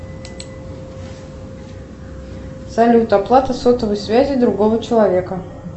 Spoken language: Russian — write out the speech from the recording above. салют оплата сотовой связи другого человека